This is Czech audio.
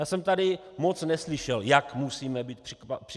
Já jsem tady moc neslyšel, jak musíme být připraveni.